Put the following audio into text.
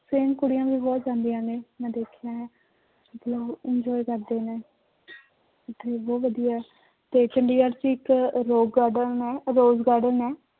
Friend ਕੁੜੀਆਂ ਵੀ ਬਹੁਤ ਜਾਂਦੀਆਂ ਨੇ ਮੈਂ ਦੇਖੀਆਂ ਨੇ ਉਹ enjoy ਕਰਦੇ ਨੇ ਉੱਥੇ ਬਹੁਤ ਵਧੀਆ ਹੈ ਤੇ ਚੰਡੀਗੜ੍ਹ ਚ ਇੱਕ rock garden ਹੈ rock garden ਹੈ